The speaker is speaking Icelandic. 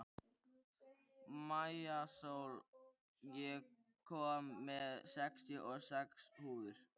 Maísól, ég kom með sextíu og sex húfur!